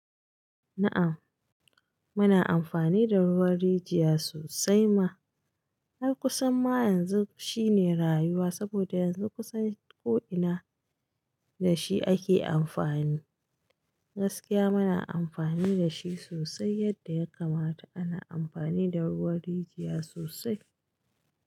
Na'am, muna amfani da ruwan rijiya sosai ma. Har kusan ma yanzu shine rayuwa saboda yanzu kusan ko ina da shi ake amfani. Gaskiya muna amfani da shi sosai yadda ya kamata ana amfani da ruwan rijiya sosai.